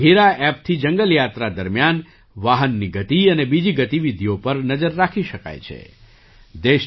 બઘીરા ઍપથી જંગલ યાત્રા દરમિયાન વાહનની ગતિ અને બીજી ગતિવિધિઓ પર નજર રાખી શકાય છે